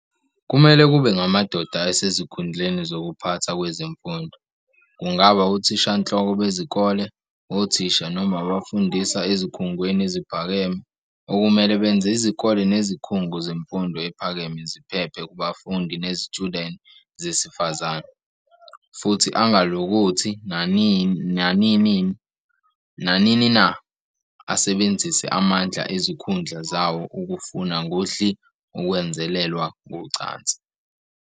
Kumele kube ngamadoda asezikhundleni zokuphatha kwezemfundo, kungaba othishanhloko bezikole, othisha noma abafundisa ezikhungweni eziphakeme, okumele benze izikole nezikhungo zemfundo ephakeme ziphephe kubafundi nezitshudeni zesifazane, futhi angalokothi, nanini na asebenzise amandla ezikhundla zawo ukufuna ngodli ukwenzelelwa ngocansi.